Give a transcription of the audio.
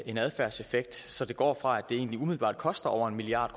en adfærdseffekt så det går fra at det egentlig umiddelbart koster over en milliard